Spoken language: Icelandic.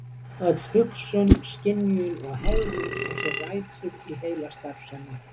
Öll hugsun, skynjun og hegðun á sér rætur í heilastarfsemi.